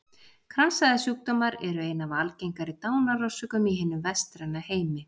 Kransæðasjúkdómar eru ein af algengari dánarorsökum í hinum vestræna heimi.